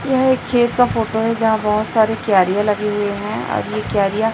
यह एक खेत का फोटो है यहां बहुत सारे क्यारियां लगे हुए हैं और ये क्यारियां--